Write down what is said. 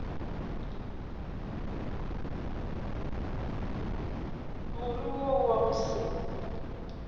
more wo wa go se